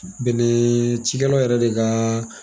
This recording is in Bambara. Bɛnɛ cikɛlaw yɛrɛ de kaaa